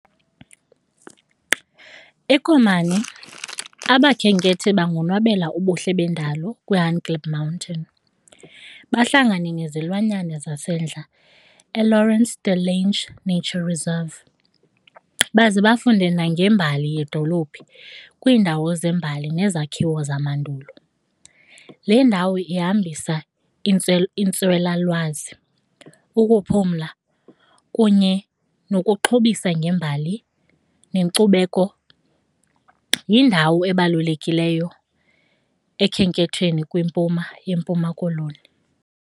EKomani abakhenkethi bangonwabela ubuhle bendalo kwiHangklip Mountain, bahlangane nezilwanyana zasendle eLawrence De Lange Nature Reserve, baze bafunde nangembali yedolophu kwiindawo zeembali nezakhiwo zamandulo. Le ndawo ihambisa iintswelalwazi, ukuphumla kunye nokuxhobisa ngembali nenkcubeko. Yindawo ebalulekileyo ekhenkethweni kwimpuma yeMpuma Koloni.